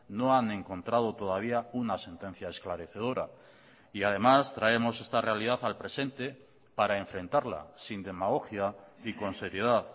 no han encontrado todavía una sentencia esclarecedora y además traemos esta realidad al presente para enfrentarla sin demagogia y con seriedad